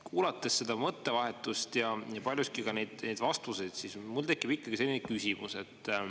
Kuulates seda mõttevahetust ja paljuski ka neid vastuseid, siis mul tekib ikkagi selline küsimus.